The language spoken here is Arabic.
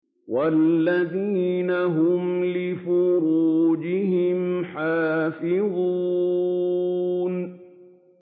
وَالَّذِينَ هُمْ لِفُرُوجِهِمْ حَافِظُونَ